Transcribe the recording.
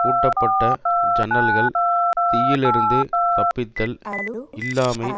பூட்டப்பட்ட ஜன்னல்கள் தீயிலிருந்து தப்பித்தல் இல்லாமை